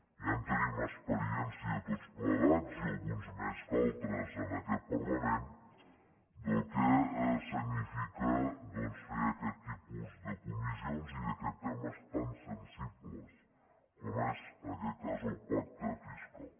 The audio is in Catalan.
ja en tenim experiència tots plegats i alguns més que altres en aquest parlament del que significa doncs fer aquest tipus de comissions i d’aquests temes tan sensibles com és en aquest cas el pacte fiscal